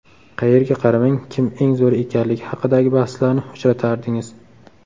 Qayerga qaramang, kim eng zo‘ri ekanligi haqidagi bahslarni uchratardingiz.